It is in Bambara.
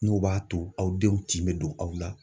N'o b'a to aw denw tin bɛ don aw la.